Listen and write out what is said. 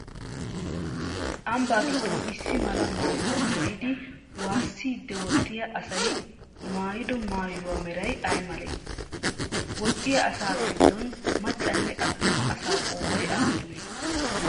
Ambbaa giddon issi mala maayuwaa maayidi waassiiddi woxxiyaa asayi maayido maayuwaa merayi ayi malee? Woxxiyaa asaa giddon maccanne attuma asaa qoodayi aappunee?